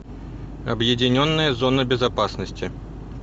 объединенная зона безопасности